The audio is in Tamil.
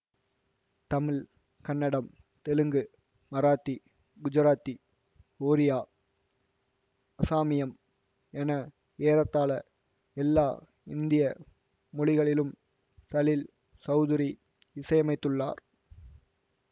தமிழ் கன்னடம் தெலுங்கு மராத்தி குஜராத்தி ஒரியா அஸாமியம் என ஏறத்தாழ எல்லா இந்திய மொழிகளிலும் சலீல் சௌதுரி இசையமைத்துள்ளார்